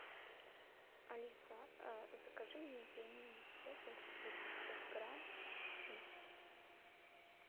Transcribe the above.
алиса закажи мне пельмени цезарь восемьсот грамм с мясом